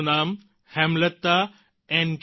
તેમનું નામ હેમલતા એન